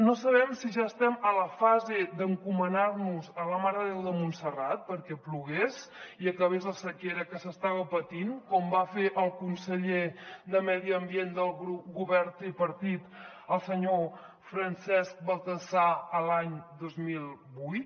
no sabem si ja estem a la fase d’encomanar nos a la mare de déu de montserrat perquè plogui i acabi la sequera que s’està patint com va fer el conseller de medi ambient del govern tripartit el senyor francesc baltasar l’any dos mil vuit